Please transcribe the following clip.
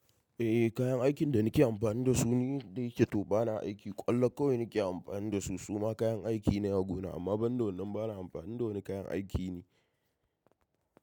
Eh kayan aikin da nake amfani da su ne yake to bana aiki. Kwallo kawai nake amfani da su. Suma kayan aiki ne a gona amma ban da wannan bana amfani da wani kayan aiki ne.